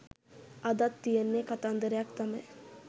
අදත් තියෙන්නේ කතන්දරයක් තමයි